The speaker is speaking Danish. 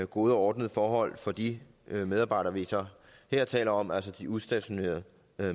gode og ordnede forhold for de medarbejdere vi så her taler om altså de udstationerede